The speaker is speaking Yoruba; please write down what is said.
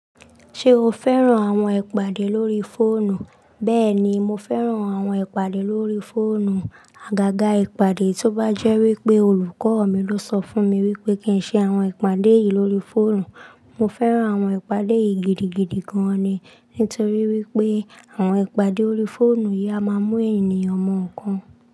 Ṣé o fẹ́ràn àwọn ìpàdé lórí fóònù? Bẹ́ẹ̀ni, mo fẹ́ràn àwọn ìpàdé lórí fóònù. Àgàgà ìpàdé tó bá jẹ́ wípé olùkọ́ mi ló sọ fún mi wípé kí ń ṣe àwọn ìpàdé yìí lórí fóònù. Mo fẹ́ràn àwọn ìpàdé yìí gidigidi gan-an ni. Nítorí wípé àwọn ìpàdé lórí fóònù yìí a máa mú ènìyàn mọ̀ nńkan.